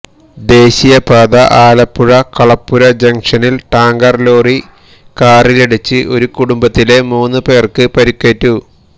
ദേശീയപാത ആലപ്പുഴ കളപ്പുര ജങ്ഷനില് tanker lorry കാറിലിടിച്ച് ഒരു കുടുംബത്തിലെ മൂന്നുപേര്ക്ക് പരിക്കേറ്റു